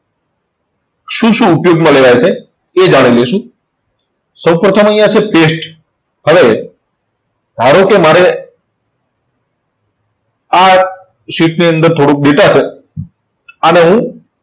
શું શું ઉપયોગમાં લેવાય છે તે જાણી લેશું. સૌપ્રથમ અહીંયા છે paste. હવે ધારો કે મારે આ sheet ની અંદર થોડુંક data છે. આને હું